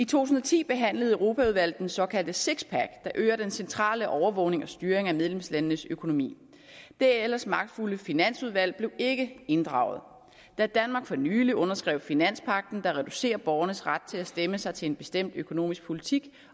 tusind og ti behandlede europaudvalget den såkaldte sixpack der øger den centrale overvågning og styring af medlemslandenes økonomi det ellers magtfulde finansudvalg blev ikke inddraget da danmark for nylig underskrev finanspagten der reducerer borgernes ret til at stemme sig til en bestemt økonomisk politik